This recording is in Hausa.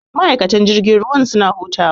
Ma'aikatan jirgin ruwa suna hutawa.